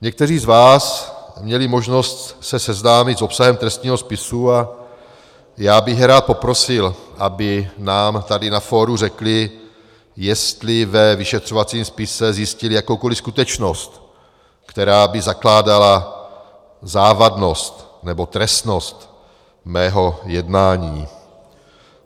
Někteří z vás měli možnost se seznámit s obsahem trestního spisu a já bych rád poprosil, aby nám tady na fóru řekli, jestli ve vyšetřovacím spise zjistili jakoukoliv skutečnost, která by zakládala závadnost nebo trestnost mého jednání.